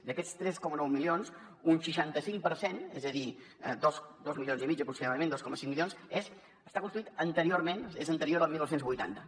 d’aquests tres coma nou milions un seixanta cinc per cent és a dir dos milions i mig aproximadament dos coma cinc milions està construït anteriorment és anterior al dinou vuitanta